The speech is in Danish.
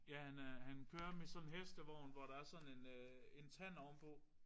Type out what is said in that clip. Ja han er han kører med sådan en hestevogn hvor der er sådan en en tand ovenpå